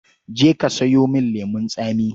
Je ka sayo min lemon tsami.